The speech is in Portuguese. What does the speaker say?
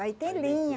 Aí tem linha.